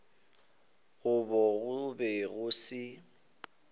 gabo go be go se